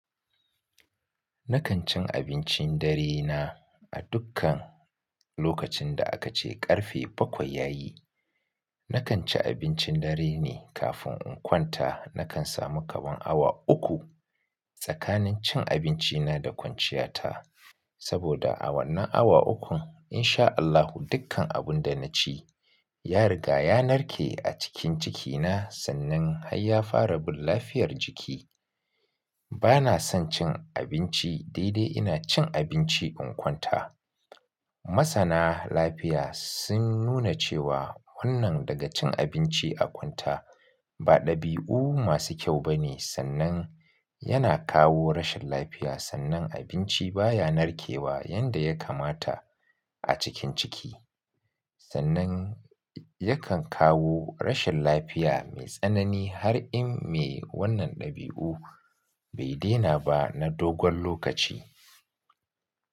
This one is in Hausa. Nakan cin abincin dare na a dukkan lokacin da aka ce ƙarfe bakwai ya yi. Nakan ci abincin dare ne kafin in kwanta. Nakan samu kaman awa uku tsakanin cin abinci na da kwanciya ta. Saboda a wannan awa ukun in sha Allahu dukkan abun da na ci ya riga ya narke a cikin cikina sannan har ya fara bin lafiyar jiki. Bana son cin abinci daidai ina cin abinci in kwanta. Masana lafiya sun nuna cewa wannan daga cin abinci a kwanta ba ɗabi'u masu kyau ba ne sannan yana kawo rashin lafiya sannan abinci baya narkewa yadda ya kamata a cikin ciki. Sannan yakan kawo rashin lafiya mai tsanani har in me wannan ɗabi'u bai dena ba na dogon lokaci.